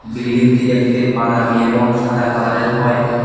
বিল্ডিংটি দেখতে বাদামি এবং সাদা কালারের হয়।